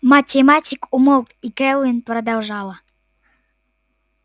математик умолк и кэлвин продолжала